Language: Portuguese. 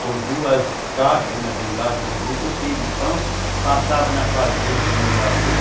com duas caixas, uma de um lado e a outra do outro, cheia de pão, passava na fazenda do meu avô.